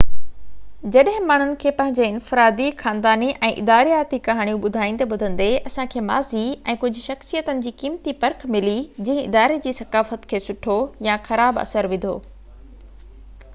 جڏهن ماڻهن کي پنهنجي انفرادي خانداني ۽ ادارياتي ڪهاڻيون ٻڌائيندي ٻڌندي اسان کي ماضي ۽ ڪجهہ شخصيتن جي قيمتي پرک ملي جنهن اداري جي ثقافت کي سٺو يا خراب اثر وڌو